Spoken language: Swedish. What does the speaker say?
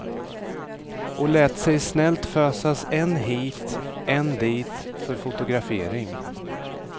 Och lät sig snällt fösas än hit, än dit för fotografering.